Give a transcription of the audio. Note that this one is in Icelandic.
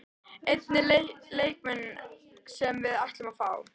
Enginn leikmenn sem við ætlum að fá?